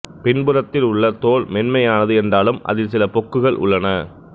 பின்புறத்தில் உள்ள தோல் மென்மையானது என்றாலும் அதில் சில பொக்குகள் உள்ளன